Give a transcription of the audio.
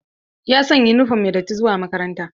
Ya sanya yunifom mai datti zuwa makaranta.